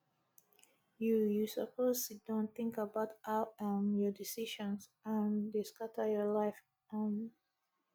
you you suppose siddon tink about how um your decisions um dey scatter your life um